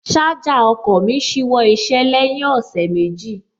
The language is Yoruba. Ṣájà ọkọ̀ mí ṣíwọ́ iṣẹ́ lẹ́yìn ọ̀sẹ̀ méjì